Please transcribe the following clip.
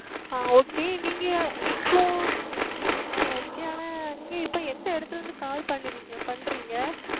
ஆஹ் Okay நீங்கள் இப்பொழுது ah Okay ஆனால் நீங்கள் இப்பொழுது எந்த இடத்தில் இருந்து Call பண்றீங்க